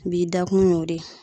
Bi dakun y'o de ye.